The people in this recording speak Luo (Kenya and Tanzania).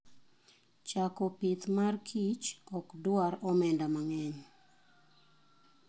Chako pith mar kich ok dwar omenda mang'eny.